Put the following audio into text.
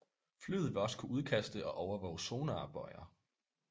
Flyet vil også kunne udkaste og overvåge sonarbøjer